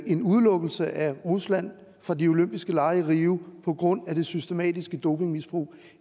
en udelukkelse af rusland fra de olympiske lege i rio på grund af det systematiske dopingmisbrug